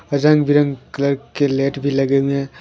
रंग बिरंग कलर के लेट भी लगे हुए है।